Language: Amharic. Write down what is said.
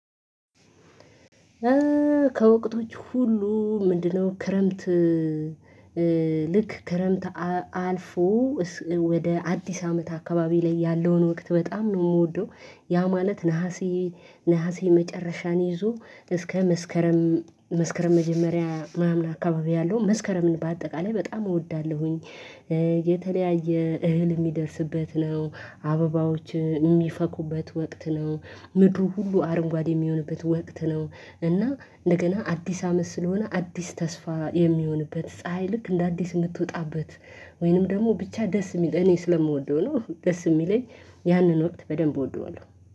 ከወቅቶች ሁሉ ምንድነው ክረምት? እ- እ ልክ ክረምት አልፎ ወደ አዲስ አመት አካባቢ ላይ ያለውን ወቅት በጣም ነው የምወደው። ያ ማለት ነሀሴ- ነሀሴ መጨረሻን ይዞ እስከ መስከረም- መስከረም መጀመሪያ ማምለክ አካባቢ ያለው መስከረምን በአጠቃላይ በጣም እወዳለሁኝ። የተለያየ እህል የሚደርስበት ነው፤ አበባዎች የሚፈኩበት ወቅት ነው፤ ምድሩ ሁሉ አረንጓዴ የሚሆንበት ወቅት ነው እና እንደገና አዲስ አመት ስለሆነ አዲስ ተስፋ የሚሆንበት፤ ፀሀይ ልክ እንደ አዲስ የምትወጣበት ወይንም ደግሞ ብቻ ደስ የሚል እኔ ስለምወደው ነው። ደስ የሚለኝ ያንን ወቅት በደንብ እወደዋለሁ።